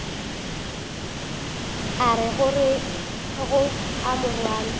o ka rego a morwana